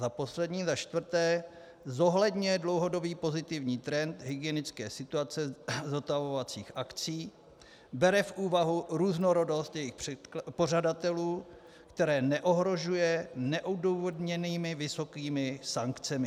za poslední, za čtvrté - zohledňuje dlouhodobý pozitivní trend hygienické situace zotavovacích akcí, bere v úvahu různorodost jejich pořadatelů, které neohrožuje neodůvodněnými vysokými sankcemi.